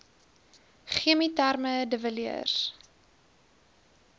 chemieterme de villiers